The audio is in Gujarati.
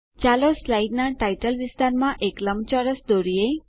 ચાલો સ્લાઇડનાં ટાઇટલ વિસ્તારમાં એક લંબચોરસ દોરીએ